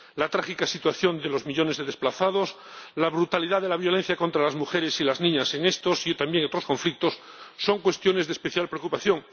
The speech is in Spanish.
La trágica situación de los millones de desplazados, la brutalidad de la violencia contra las mujeres y las niñas en estos y también otros conflictos son cuestiones de especial preocupación.